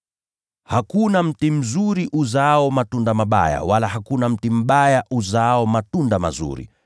“Hakuna mti mzuri uzaao matunda mabaya, wala hakuna mti mbaya uzaao matunda mazuri.